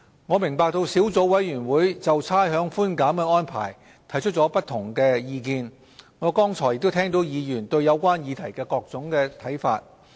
我明白小組委員會就差餉寬減的安排提出了不同的意見，我剛才亦聽到議員對有關議題的各種看法。